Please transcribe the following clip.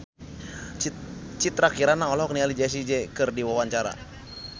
Citra Kirana olohok ningali Jessie J keur diwawancara